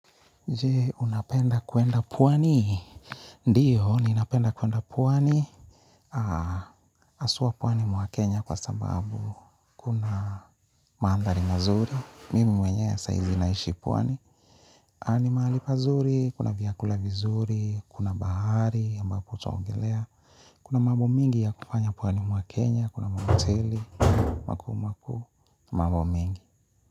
Je, unapenda kwenda pwani? Ndiyo, ninapenda kwenda puwani. Haswa pwani mwa Kenya kwa sababu kuna mandhari mazuri. Mimi mwenyewe saa hizi naishi pwani. Na ni mahali pazuri, kuna vyakula vizuri, kuna bahari, ambapo utaogelea. Kuna mambo mengi ya kufanya pwani mwa Kenya, kuna mahoteli makuu makuu, mambo mengi.